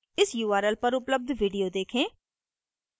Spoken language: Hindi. इस url पर उपलब्ध video देखें